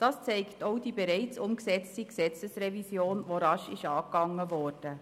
Das zeigt auch die bereits umgesetzte Gesetzesrevision, die rasch angegangen wurde.